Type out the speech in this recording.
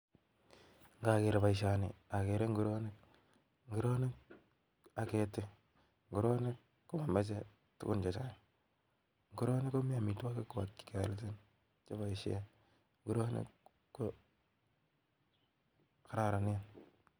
Ngager boisioni, agere nguronik. Nguronik, ageti. Nguronik, ko momoche tugun chechang'. Nguronik komi amitwogik kwaak che kealchin, che boisie. Nguronik ko kararanen.